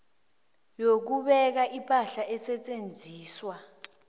yokubeka ipahla esetjenziswa